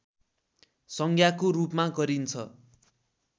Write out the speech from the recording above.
संज्ञाको रूपमा गरिन्छ